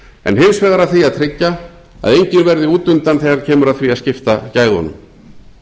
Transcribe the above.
en hins vegar að því að tryggja að enginn verði útundan þegar kemur að því að skipta gæðunum